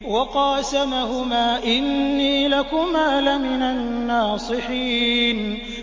وَقَاسَمَهُمَا إِنِّي لَكُمَا لَمِنَ النَّاصِحِينَ